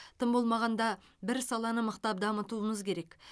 тым болмағанда бір саланы мықтап дамытуымыз керек